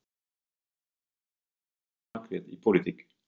En fyrir hvað stendur Margrét í pólitík?